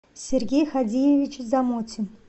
сергей ходиевич замотин